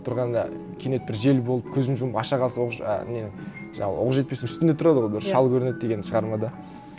тұрғанда кенет бір жел болып көзін жұмып аша қалса ол уже а не жаңағы оқжетпестің үстінде тұрады ғой бір шал көрінеді деген шығармада